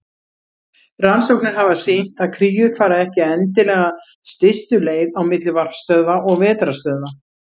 Rannsóknir hafa sýnt að kríur fara ekki endilega stystu leið á milli varpstöðva og vetrarstöðva.